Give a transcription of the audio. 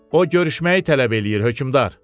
O görüşməyi tələb eləyir hökmdar.